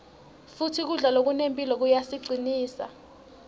futsi kudla lokunemphilo kuyasicinsa